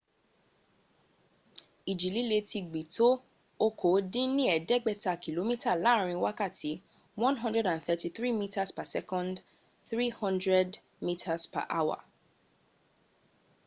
ìjì líle ti gbì tó okòódínníẹ̀dẹ́gbẹ̀ta kìlómítà láàrin wákàtí 133 m/s; 300 mph